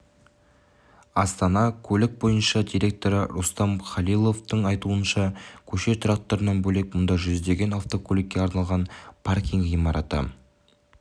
астана көлік бойынша директоры рустам халиловтың айтуынша көше тұрақтарынан бөлек мұнда жүздеген автокөлікке арналған паркинг ғимараты